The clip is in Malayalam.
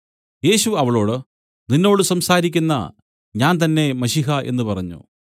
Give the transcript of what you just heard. യേശു അവളോട് നിന്നോട് സംസാരിക്കുന്ന ഞാൻ തന്നേ മശീഹ എന്നു പറഞ്ഞു